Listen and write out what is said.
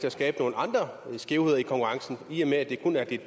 at skabe nogle andre skævheder i konkurrencen i og med at det kun er de